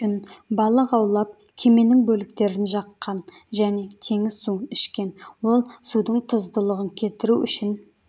үшін балық аулап кеменің бөліктерін жаққан және теңіз суын ішкен ол судың тұздылығын кетіру үшін